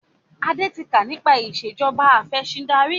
Adé tí kà nípa ìsèjọba afẹ̀sindarí